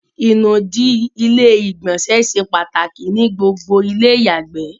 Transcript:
ìnùdí ilé ìgbọ̀nsẹ̀ se pàtàkì ní gbogbo ilé ìyàgbè